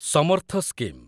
Samarth scheme